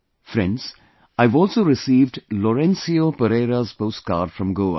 Friends, I have also received Laurencio Pereira's postcard from Goa